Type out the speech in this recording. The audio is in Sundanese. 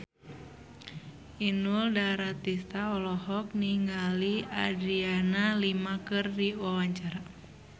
Inul Daratista olohok ningali Adriana Lima keur diwawancara